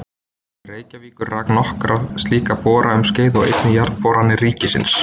Reykjavíkur rak nokkra slíka bora um skeið og einnig Jarðboranir ríkisins.